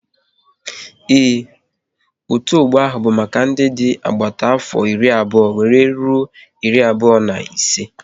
Ee, otu ọgbọ ahụ bụ maka ndị dị n'agbata afọ iri abụọ wéré rụọ iri abụọ na ise